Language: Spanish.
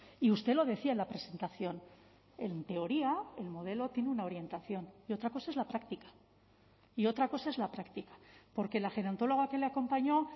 y usted lo decía en la presentación en teoría el modelo tiene una orientación y otra cosa es la práctica y otra cosa es la práctica porque la gerontóloga que le acompañó